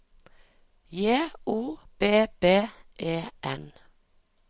J O B B E N